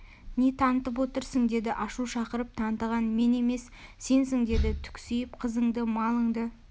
не тантып отырсың деді ашу шақырып тантыған мен емес сенсің деді түксиіп қызыңды малынды